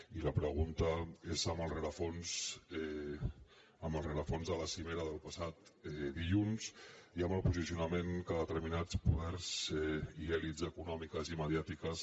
i la pregunta és amb el rerefons de la cimera del passat dilluns i amb el posicionament que determinats poders i elits econòmiques i mediàtiques